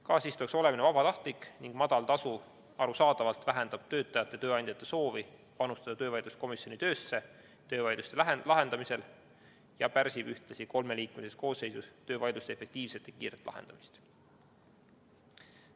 Kaasistujaks olemine on vabatahtlik ning madal tasu arusaadavalt vähendab töötajate ja tööandjate soovi panustada töövaidluskomisjoni töösse töövaidluste lahendamisel ja pärsib ühtlasi kolmeliikmelises koosseisus töövaidluste efektiivset ja kiiret lahendamist.